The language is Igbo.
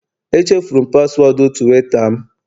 Echefuru m paswọọdụ Tuweeta m